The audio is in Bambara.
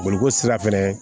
Boloko sira fɛnɛ